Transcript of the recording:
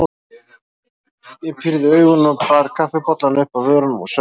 Ég pírði augun og bar kaffibollann upp að vörunum og saup á.